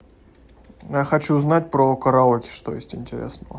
я хочу знать про караоке что есть интересного